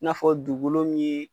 N'a fɔ dugukolo min ye.